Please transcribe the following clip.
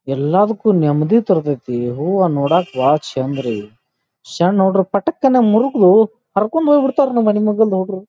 ಎಲ್ಲದಕ್ಕೂ ನೆಮ್ಮದಿ ತರತೈತಿ ಹೂವ ನೋಡಕ್ ಬಹಳ ಚಂದ್ ರೀ. ಶಣ್ಣ ಹುಡುಗೂರು ಪಠಕ್ ಅನ ಮೂರ್ರುದು ಹರ್ಕಂಡ್ ಹೋಗಿ ಬಿಡ್ತಾರ ನಮ್ಮ ಮನಿ ಮಗಲ್ದ ಹುಡುಗರ್.